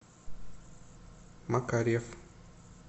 макарьев